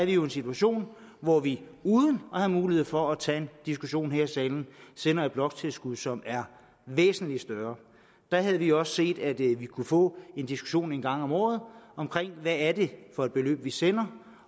jo en situation hvor vi uden at have mulighed for at tage en diskussion her i salen sender et bloktilskud som er væsentlig større der havde vi også gerne set at vi kunne få en diskussion en gang om året om hvad det er for et beløb vi sender